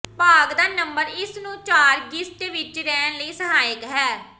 ਭਾਗ ਦਾ ਨੰਬਰ ਇਸ ਨੂੰ ਚਾਰ ਗਿਸਟ ਵਿੱਚ ਰਹਿਣ ਲਈ ਸਹਾਇਕ ਹੈ